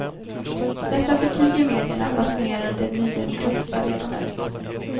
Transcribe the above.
Detta förtiger medierna, basunerade de nydemokratiska ledarna ut.